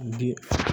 Bi